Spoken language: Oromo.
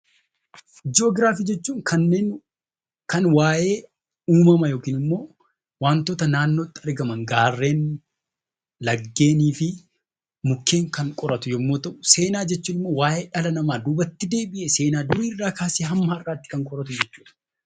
Joogiraafi jechuun kanneen kan waayee uummama yookinimmoo wantoota naannootti argaman gaarreen laggeeeniifi mukeen kanneen qoratu yommuu ta'u, seenaa jechuunimmoo waayee dhala namaa duubatti deebi'ee durirraa kaasee hamma har'aatti kan qo'atu jechuudha.